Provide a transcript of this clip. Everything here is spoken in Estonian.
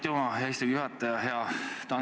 Aitüma, hea istungi juhataja!